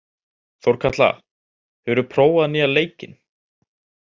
Þórkatla, hefur þú prófað nýja leikinn?